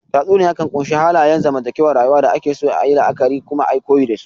Tatsuniya kan ƙunshi halayen zantakewar rayuwa da ake so ayi la'akari kuma ayi koyi dasu